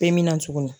Bɛɛ mina cogo min